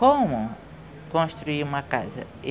Como construir uma casa?